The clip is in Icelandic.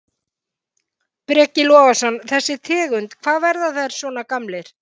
Breki Logason: Þessi tegund, hvað, verða þeir svona gamlir?